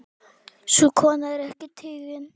Sú kona er ekki tigin.